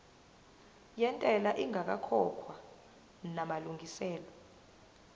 yentela ingakakhokhwa namalungiselo